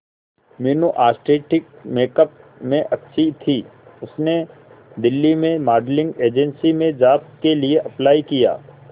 Meenu artistic makeup में अच्छी थी उसने दिल्ली में मॉडलिंग एजेंसी में जॉब के लिए अप्लाई किया